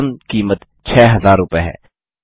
अधिकतम कीमत 6000 रूपये है